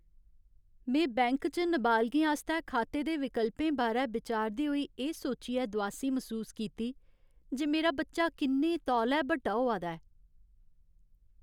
में बैंक च नाबालगें आस्तै खाते दे विकल्पें बारै बिचारदे होई एह् सोचियै दुआसी मसूस कीती जे मेरा बच्चा किन्ने तौले बड्डा होआ दा ऐ।